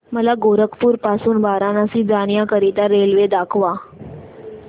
मला गोरखपुर पासून वाराणसी जाण्या करीता रेल्वे दाखवा